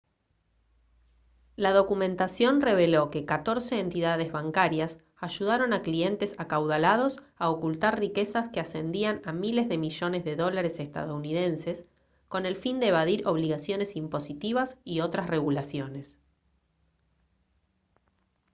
la documentación reveló que catorce entidades bancarias ayudaron a clientes acaudalados a ocultar riquezas que ascendían a miles de millones de dólares estadounidenses con el fin de evadir obligaciones impositivas y otras regulaciones